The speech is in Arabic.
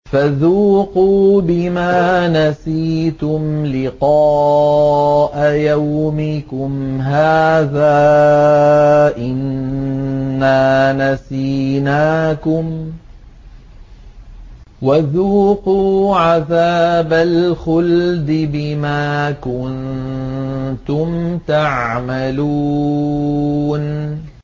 فَذُوقُوا بِمَا نَسِيتُمْ لِقَاءَ يَوْمِكُمْ هَٰذَا إِنَّا نَسِينَاكُمْ ۖ وَذُوقُوا عَذَابَ الْخُلْدِ بِمَا كُنتُمْ تَعْمَلُونَ